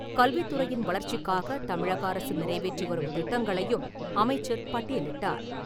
கல்வித்துறையின் வளர்ச்சிக்காகத் தமிழக அரசு நிறைவேற்றி வரும் திட்டங்களையும் அமைச்சர் பட்டியலிட்டார்.